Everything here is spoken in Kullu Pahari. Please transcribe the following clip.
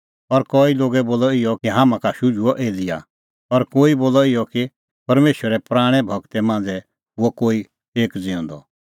और कई लोगै बोलअ इहअ बी कि हाम्हां का शुझुअ एलियाह और कई बोलअ इहअ कि परमेशरे पराणैं गूरा मांझ़ै हुअ कोई एक ज़िऊंदअ